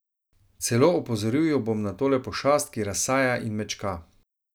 Celo opozoril jo bom na tole pošast, ki razsaja in mečka.